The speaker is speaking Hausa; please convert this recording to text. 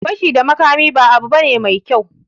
Fashi da makami ba abu bane mai kyau